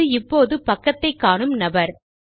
அது இப்போது பக்கத்தை காணும் நபர்